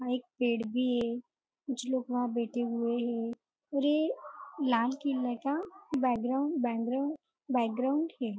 वहाँ एक पेड़ भी है कुछ लोग वहाँ बैठे हुए है और यह लाल किले का background background background है।